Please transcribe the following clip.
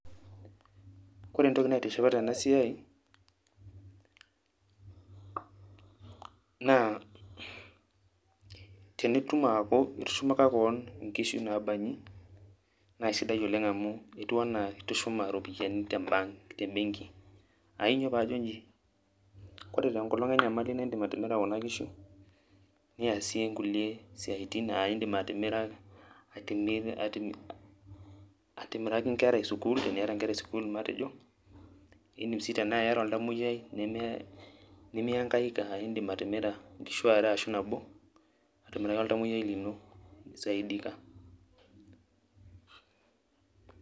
Kore entoki naitishipa tenasiai, naa tenitum aaku itushumaka keon inkishu nabanyi, nasidai oleng' amu etiu enaa itushuma iropiyiani te bank ,tebenki. Ainyoo pajo iji, kore tenkolong enyamali na idim atimira kuna kishu, niasie nkulie siaitin ah idim atimira ki nkera esukuul, teniata nkera esukuul matejo, idim si tenaa iyata oltamoyiai nimiankaika, ah idim atimira nkishu are ashu nabo, atimiraki oltamoyiai lino, nisaidika.